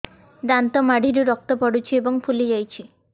ଦାନ୍ତ ମାଢ଼ିରୁ ରକ୍ତ ପଡୁଛୁ ଏବଂ ଫୁଲି ଯାଇଛି